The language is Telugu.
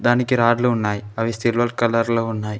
మనకి రాడ్లు ఉన్నాయి అవి సిల్వర్ కలర్ లో ఉన్నాయి.